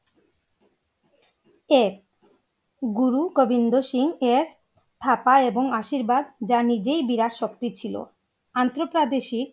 গুরু গোবিন্দ সিং এর থাকা এবং আশীর্বাদ যা নিজেই বিরাট শক্তি ছিল আন্তপ্রাদেশিক